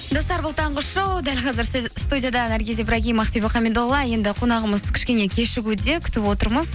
достар бұл таңғы шоу дәл қазір студияда наргиз ибрагим ақбибі хамидолла енді қонағымыз кішкене кешігуде күтіп отырмыз